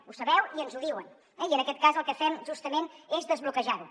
ho sabeu i ens ho diuen eh i en aquest cas el que fem justament és desbloquejar ho